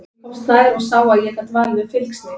Ég komst nær og sá að ég gat valið um fylgsni.